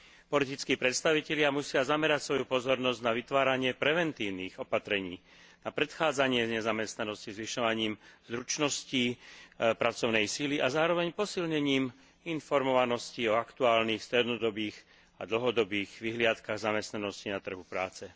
Politickí predstavitelia musia zamerať svoju pozornosť na vytváranie preventívnych opatrení na predchádzanie nezamestnanosti zvyšovaním zručností pracovnej sily a zároveň posilnením informovanosti o aktuálnych strednodobých a dlhodobých vyhliadkach zamestnanosti na trhu práce.